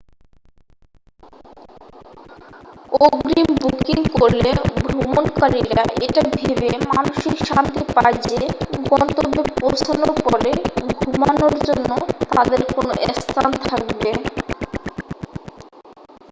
অগ্রিম বুকিং করলে ভ্রমণকারীরা এটা ভেবে মানসিক শান্তি পায় যে গন্তব্যে পৌঁছানোর পরে ঘুমানোর জন্য তাদের কোন স্থান থাকবে